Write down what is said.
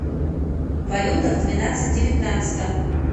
валюта в двенадцать девятнадцатом